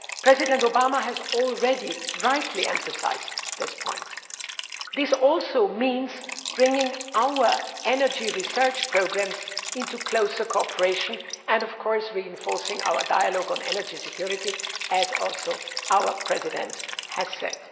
President Obama has already rightly emphasised this point. This also means bringing our energy research programmes into closer cooperation and reinforcing our dialogue on energy security as our President has also said.